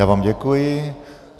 Já vám děkuji.